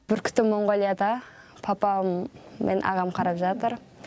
бүркітім моңғолияда папам мен ағам қарап жатыр